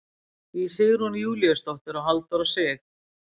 Í Sigrún Júlíusdóttir og Halldór Sig.